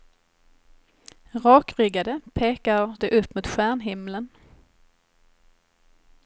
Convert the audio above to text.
Rakryggade pekar de upp mot stjärnhimlen.